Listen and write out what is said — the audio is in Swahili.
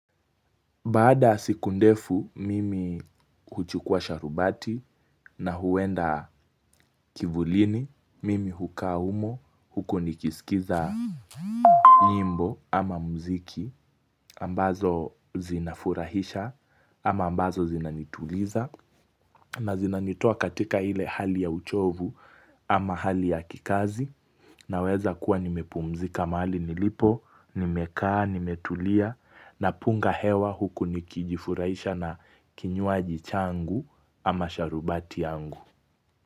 Baada yasiku ndefu, mimi huchukua sharubati na huenda kivulini, mimi hukaa humo, huko nikisikiza nyimbo ama mziki, ambazo zinafurahisha ama ambazo zinanituliza. Na zinanitoa katika ile hali ya uchovu ama hali ya kikazi na wezakuwa nimepumzika mahali nilipo, nimekaa, nimetulia na punga hewa huku nikijifurahisha na kinywaji changu ama sharubati yangu.